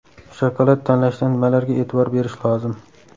Shokolad tanlashda nimalarga e’tibor berish lozim?.